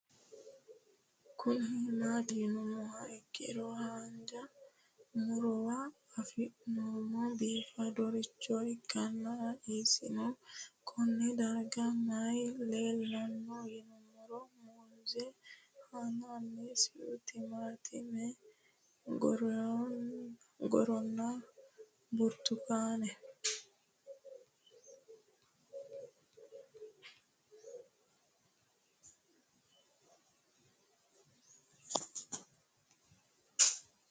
Kuni mati yinumoha ikiro hanja murowa afine'mona bifadoricho ikana isino Kone darga mayi leelanno yinumaro muuze hanannisu timantime gooranna buurtukaane